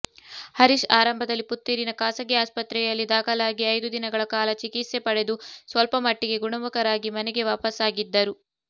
ಹರೀಶ್ ಆರಂಭದಲ್ಲಿ ಪುತ್ತೂರಿನ ಖಾಸಗಿ ಆಸ್ಪತ್ರೆಯಲ್ಲಿ ದಾಖಲಾಗಿ ಐದು ದಿನಗಳ ಕಾಲ ಚಿಕಿತ್ಸೆ ಪಡೆದು ಸ್ವಲ್ಪಮಟ್ಟಿಗೆ ಗುಣಮುಖರಾಗಿ ಮನೆಗೆ ವಾಪಸ್ಸಾಗಿದ್ದರು